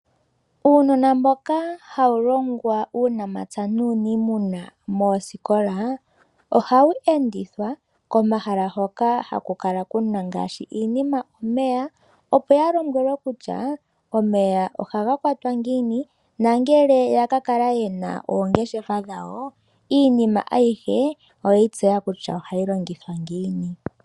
Uunona mboka hawu longwa uunamapya nuuniimuna moosikola, ohawu endithwa komahala hoka haku kala kuna ngaashi iinima omeya, opo ya lombwele kutya omeya ohaga kwatwa ngiini. Ngele ya ka kala ye na oongeshefa dhawo iinima ayihe oyeyi tseya kutya ohayi longithwa ngiini.